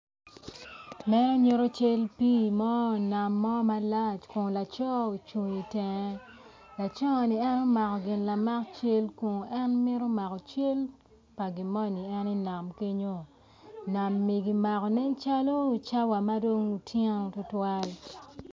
Muno nyuto cal pi mo nam mo malac kun laco ocung i tenge laco ni en omako gin lamak cal kun en mito mako cal pa gimo ni en i nam ekenyo nam eni kimako nen calo cawa madong otyeno tutwal.